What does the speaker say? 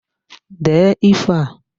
Dee ifo a!